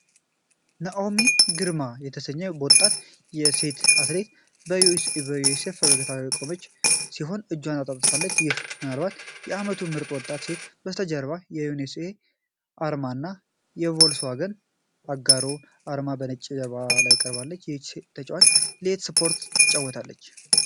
ናኦሚ ገርማ የተባለች ወጣት ሴት አትሌት በዩኤስኤ በፈገግታ የቆመች ሲሆን እጆቿን አጣጥፋለች፤ ይህም ምናልባት ለ"አመቱ ምርጥ ወጣት ሴት ከበስተጀርባ የዩኤስኤ አርማ እና የቮልስዋገን አጋርነት አርማዎች በነጭ ጀርባ ላይ ቀርበዋል። ይህች ተጫዋች ለየትኛው ስፖርት ነው የምትጫወተው?